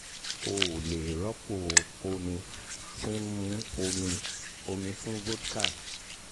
o ò o ò lè rọ́pò omi tí ń mu omi omi fún vodka